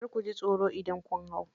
Kar kuji tsoro idan kun hau.